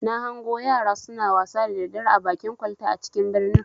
Na hango yara suna wasa da daddare a bakin kwalta a cikin birnin.